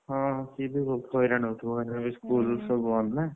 ହଁ ସିଏ ବି ବହୁତ ହଇରାଣ ହଉଥିବ ଏଇନା school ସବୁ ବନ୍ଦ ନା,